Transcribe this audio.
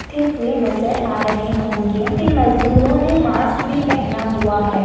हुए नज़र आ रहे होंगे इन मजदूर ओने मास्क भी पहना हुआ है।